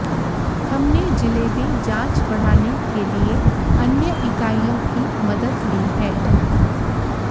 हमने जिले में जांच बढ़ाने के लिए अन्य इकाइयों की मदद ली है